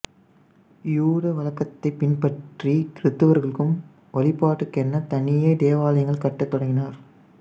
யூத வழக்கத்தைப் பின்பற்றி கிறித்தவர்களும் வழிபாட்டுக்கென தனியே தேவாலயங்கள் கட்டத் தொடங்கினர்